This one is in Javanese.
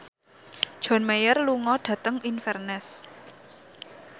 John Mayer lunga dhateng Inverness